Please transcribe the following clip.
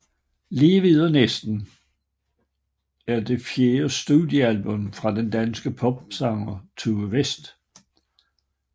Lige ved og næsten er det fjerde studiealbum fra den danske popsanger Tue West